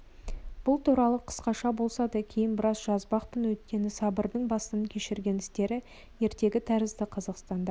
бұл туралы қысқаша болса да кейін біраз жазбақпын өйткені сабырдың бастан кешірген істері ертегі тәрізді қазақстанда